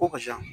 Ko karisa